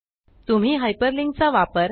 तुम्ही हायपरलिंक चा वापर